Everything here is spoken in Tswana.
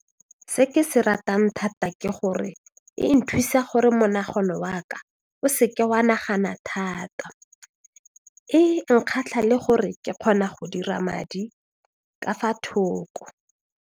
Se ke se ratang thata ke gore e nthusa gore monagano wa ka o se ke wa nagana thata e nkgatlha le gore ke kgona go dira madi ka fa thoko.